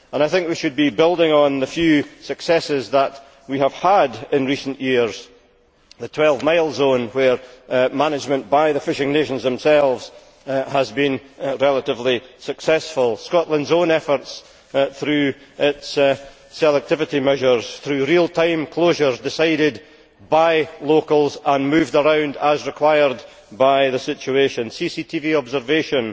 I think we should be building on the few successes that we have had in recent years, for example the 12 mile zone, where management by the fishing nations themselves has been relatively successful, Scotland's own efforts through its selectivity measures, through real time closures decided upon by locals and moved around as required by the situation, CCTV observation